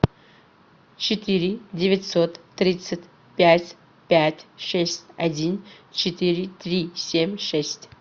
четыре девятьсот тридцать пять пять шесть один четыре три семь шесть